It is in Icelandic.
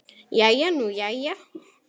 Jæja nú jæja.